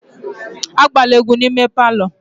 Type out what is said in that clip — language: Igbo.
Agbala egwu n'ime palọ!